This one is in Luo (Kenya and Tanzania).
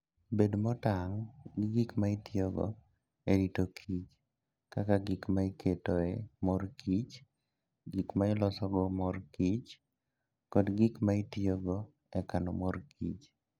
Bed motang' gi gik ma itiyogo e rito kichr, kaka gik ma iketoe mor kich, gik ma ilosogo mor kich, kod gik ma itiyogo e kano mor kich.